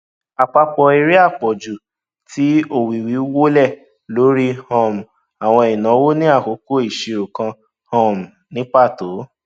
àpapọ èrè àpọjù ti owówíwọlé lórí um àwọn ìnáwó ní àkókò ìṣirò kan um ní pàtó